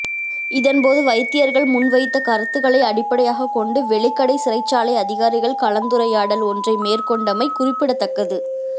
இதன்போது வைத்தியர்கள் முன்வைத்த கருத்துக்களை அடிப்படையாகக் கொண்டு வெலிக்கடை சிறைச்சாலை அதிகாரிகள் கலந்துறையாடல் ஒன்றைமேற்கொண்டமை குறிப்பிடத்தக்கது